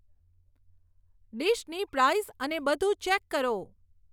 ડીશની price અને બધું check કરો